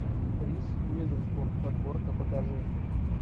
риз уизерспун подборка покажи